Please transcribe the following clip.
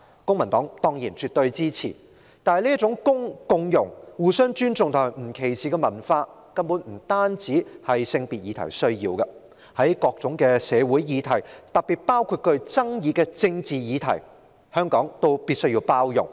公民黨對此絕對支持，但這種共融、互相尊重和不歧視的文化，根本不單是處理性別議題所需要的，在各種社會議題，特別是具爭議的政治議題上，香港必須包容。